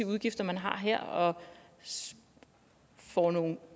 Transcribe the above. udgifter man har her og får nogle